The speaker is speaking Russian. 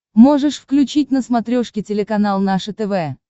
можешь включить на смотрешке телеканал наше тв